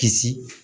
Kisi